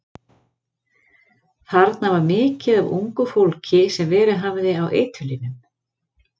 Þarna var mikið af ungu fólki sem verið hafði í eiturlyfjum.